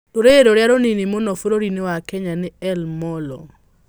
Rũrĩrĩ rũrĩa rũnini mũno bũrũri-inĩ wa Kenya nĩ El Molo.